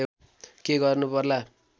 के गर्नु पर्ला